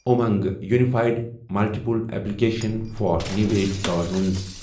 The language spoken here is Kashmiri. Umang unified multiple application for new age گورنَنسِ